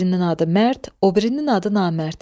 Birinin adı Mərd, o birinin adı Namərd.